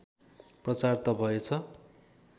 प्रचार त भएछ